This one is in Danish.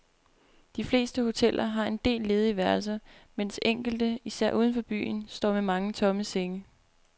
De fleste hoteller har en del ledige værelser, mens enkelte, især uden for byen, står med mange tomme senge.